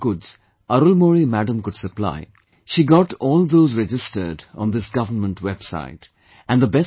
Now whatever goods Arulmozhi Madam could supply, she got all those registered on this government website